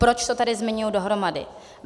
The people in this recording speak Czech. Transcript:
Proč to tady zmiňuji dohromady?